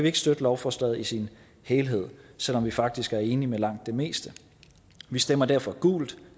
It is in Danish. ikke støtte lovforslaget i sin helhed selv om vi faktisk er enige i langt det meste vi stemmer derfor gult